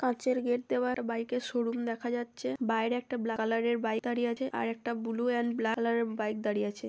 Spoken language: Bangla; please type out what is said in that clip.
কাঁচের গেট দেওয়া একটা বাইক -এর শোরুম দেখা যাচ্ছে। বাইরে একটা ব্ল্যাক কালারের বাইক দাঁড়িয়ে আছে। আর একটা ব্লু এন্ড ব্ল্যাক কালারের বাইক দাঁড়িয়ে আছে।